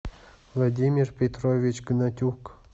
владимир петрович гнатюк